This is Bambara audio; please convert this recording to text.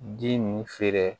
Ji nin feere